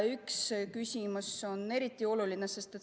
Üks küsimus on eriti oluline.